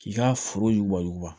K'i ka foro wa wuguba